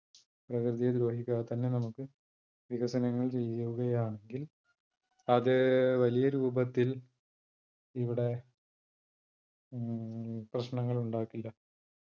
പ്രകൃതിയെ ദ്രോഹിക്കാതെ തന്നെ നമുക്ക് വികസനങ്ങൾ ചെയ്യുകയാണെങ്കിൽ അത് വലിയ രൂപത്തിൽ ഇവിടെ ഉം പ്രശ്നങ്ങൾ ഉണ്ടാക്കില്ല.